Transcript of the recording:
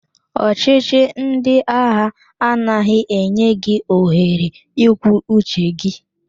Ọchị chi ndị agha anaghị enye gị ohere ikwu uche gị.